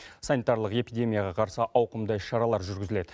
санитарилық эпидемияға қарсы ауқымды іс шаралар жүргізіледі